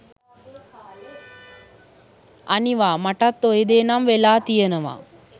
අනිවා මටත් ඔය දේ නම් වෙලා තියනවා.